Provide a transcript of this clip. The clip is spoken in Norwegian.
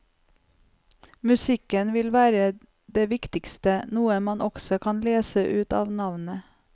Musikken vil være det viktigste, noe man også kan lese ut av navnet.